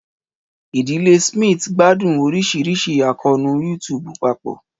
Ìdílé Smith gbádùn oríṣiríṣi àkóónú YouTube papọ̀